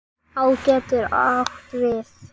Á getur átt við